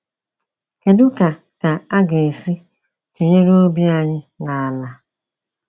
Kedu ka ka a ga esi tụnyere obi anyị na ala?